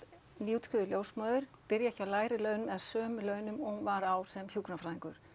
nýútskrifuð ljósmóðir byrji ekki á lægri launum eða sömu launum og hún var á sem hjúkrunarfræðingur